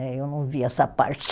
Eh eu não vi essa parte.